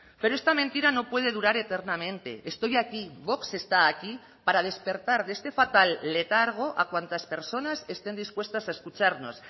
pero esta mentira no puede durar eternamente estoy aquí vox está aquí para despertar de este fatal letargo a cuantas personas estén dispuestas a escucharnos